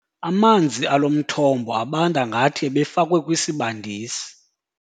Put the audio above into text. Amanzi alo mthombo abanda ngathi ebefakwe kwisibandisi.